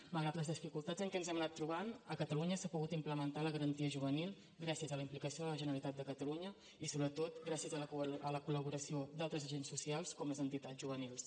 malgrat les dificultats en què ens hem anat trobant a catalunya s’ha pogut implementar la garantia juvenil gràcies a la implicació de la generalitat de catalunya i sobretot gràcies a la col·laboració d’altres agents socials com les entitats juvenils